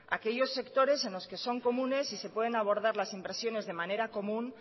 aquellos sectores en los que son comunes y se pueden abordar las de manera común